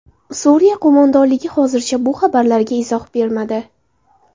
Suriya qo‘mondonligi hozircha bu xabarlarga izoh bermadi.